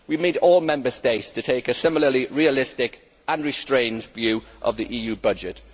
We need all Member States to take a similarly realistic, unrestrained view of the EU budget.